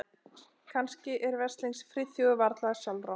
Kannski er veslings Friðþjófi varla sjálfrátt.